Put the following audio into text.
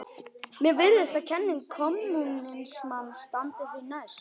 Mér virðist að kenning kommúnismans standi því næst.